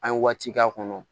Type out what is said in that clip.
An ye waati k'a kɔnɔ